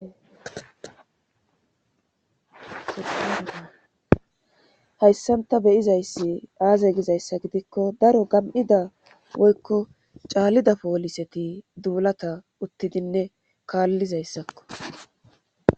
Hayssanta beyizayssi aaze gizayssa gidikko daro gam'ida woykko caallida pooliseti duulata uttidinne kaallizayssakko.